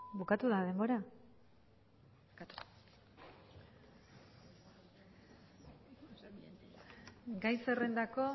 bukatu da denbora gai zerrendako